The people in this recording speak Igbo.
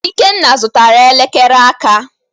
Ikenna zụtara elekere aka.